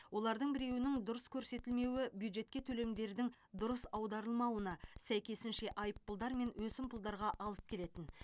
олардың біреуінің дұрыс көрсетілмеуі бюджетке төлемдердің дұрыс аударылмауына сәйкесінше айыппұлдар мен өсімпұлдарға алып келетін